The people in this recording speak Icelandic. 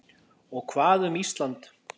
Og hvað um Ísland?